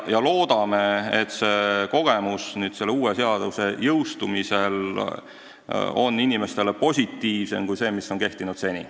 Loodame, et pärast uue seaduse jõustumist saadav kogemus on inimestel positiivsem kui see, mis on olnud seni.